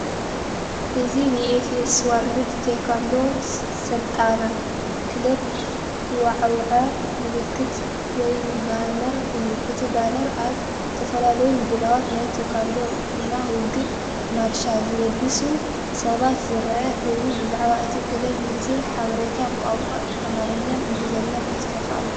እዚ ንኤፍኤስ ዎርልድ ቴኳንዶ ስልጠና ክለብ ዘወዓውዕ ምልክት ወይ ባነር እዩ። እቲ ባነር ኣብ ዝተፈላለየ ምድላዋት ናይ ቴኳንዶ ናይ ውግእ ማርሻ ዝለበሱ ሰባት ዘርኢ ኮይኑ፡ ብዛዕባ እታ ክለብ ዝርዝር ሓበሬታ ብቋንቋ ኣምሓርኛን እንግሊዝኛን ተጻሒፉ ኣሎ።